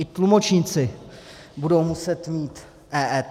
I tlumočníci budou muset mít EET.